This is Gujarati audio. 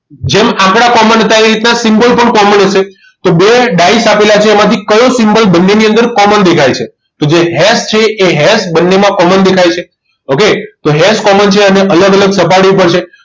જેમ આંકડા common હતા એ રીતે symbol પણ common હશે તો બે ડાઈસ આપેલા છે એમાંથી કયો symbol બંનેની અંદર common દેખાય છે જે હેસ છે એ હેસ બંનેની અંદર common દેખાય છે okay તો હેસ common છે અને અલગ અલગ સપાટી ઉપર છે